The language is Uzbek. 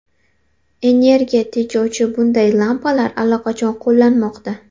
Energiya tejovchi bunday lampalar allaqachon qo‘llanmoqda.